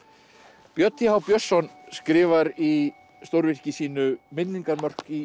björn t h Björnsson skrifar í stórvirki sínu minningarmörk í